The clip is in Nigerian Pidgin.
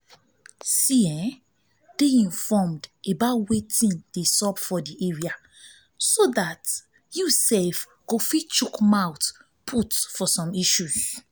dey informed about wetin dey sup for di area so dat you go fit chook mouth put for issues